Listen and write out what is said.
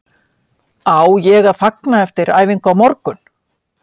Á ég að fagna eftir æfingu á morgun?